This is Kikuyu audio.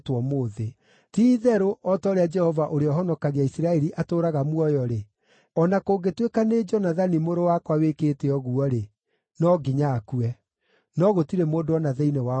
Ti-itherũ o ta ũrĩa Jehova ũrĩa ũhonokagia Isiraeli atũũraga muoyo-rĩ, o na kũngĩtuĩka nĩ Jonathani mũrũ wakwa wĩkĩte ũguo-rĩ, no nginya akue.” No gũtirĩ mũndũ o na thĩinĩ wao woigire ũndũ.